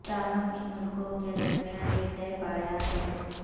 تاہم ان ملکوں کے درمیان یہ طے پایا ہے